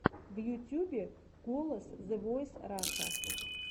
в ютьюбе голос зэ войс раша